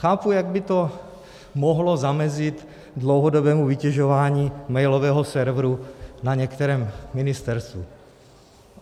Chápu, jak by to mohlo zamezit dlouhodobému vytěžování mailového serveru na některém ministerstvu.